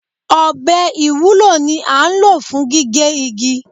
Ọbẹ̀ ìwúlò ni án ló fún gigẹ́ igi